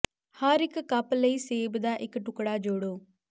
ਹਰ ਇੱਕ ਕੱਪ ਲਈ ਸੇਬ ਦਾ ਇੱਕ ਟੁਕੜਾ ਜੋੜੋ